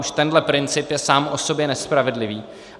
Už tenhle princip je sám o sobě nespravedlivý.